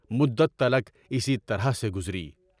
مدت تلاک اسی طرح سے گزری۔